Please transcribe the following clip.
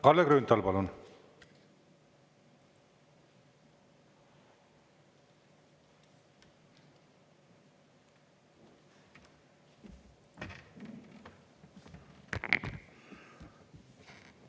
Kalle Grünthal, palun!